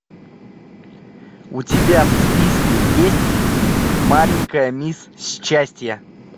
у тебя в списке есть маленькая мисс счастье